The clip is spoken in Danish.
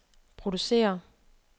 producere